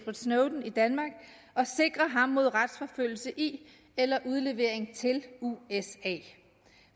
snowden i danmark og sikrer ham mod retsforfølgelse i eller udlevering til usa